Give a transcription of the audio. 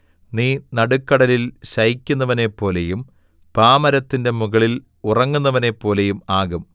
നീ നടുക്കടലിൽ ശയിക്കുന്നവനെപ്പോലെയും പാമരത്തിന്റെ മുകളിൽ ഉറങ്ങുന്നവനെപ്പോലെയും ആകും